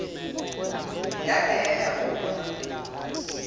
yada yaya kuma